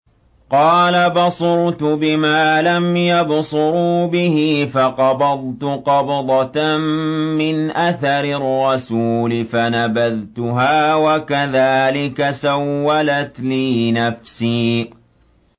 قَالَ بَصُرْتُ بِمَا لَمْ يَبْصُرُوا بِهِ فَقَبَضْتُ قَبْضَةً مِّنْ أَثَرِ الرَّسُولِ فَنَبَذْتُهَا وَكَذَٰلِكَ سَوَّلَتْ لِي نَفْسِي